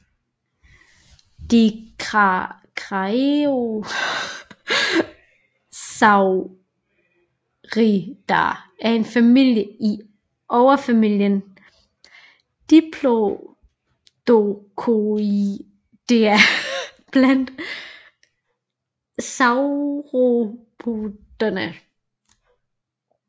Dicraeosauridae er en familie i overfamilien Diplodocoidea blandt sauropoderne